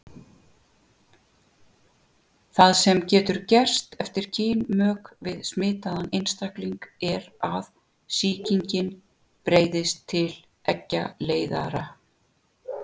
Það sem getur gerst eftir kynmök við smitaðan einstakling er að sýkingin breiðist til eggjaleiðara.